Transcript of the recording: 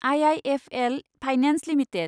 IIFL finance limited